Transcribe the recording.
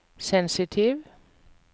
sensitiv